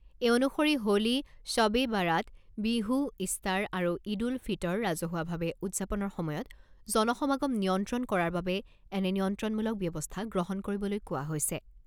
এই অনুসৰি হোলী, শ্বব এ বৰাত, বিহু, ইষ্টাৰ আৰু ঈদ উল ফিটৰ ৰাজহুৱাভাৱে উদযাপনৰ সময়ত জন সমাগম নিয়ন্ত্ৰণ কৰাৰ বাবে এনে নিয়ন্ত্ৰণমূলক ব্যৱস্থা গ্ৰহণ কৰিবলৈ কোৱা হৈছে।